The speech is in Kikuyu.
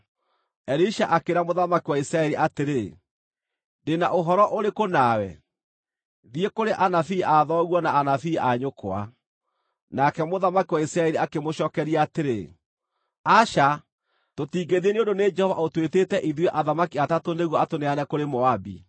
Elisha akĩĩra mũthamaki wa Isiraeli atĩrĩ, “Ndĩ na ũhoro ũrĩkũ nawe? Thiĩ kũrĩ anabii a thoguo na anabii a nyũkwa.” Nake mũthamaki wa Isiraeli akĩmũcookeria atĩrĩ, “Aca, tũtingĩthiĩ nĩ ũndũ nĩ Jehova ũtwĩtĩte ithuĩ athamaki atatũ nĩguo atũneane kũrĩ Moabi.”